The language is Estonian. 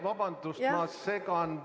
Vabandust, ma segan!